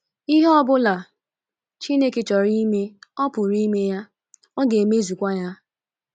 Ihe ọ bụla Chineke chọrọ ime, ọ pụrụ ime ya, ọ ga - emezukwa ya.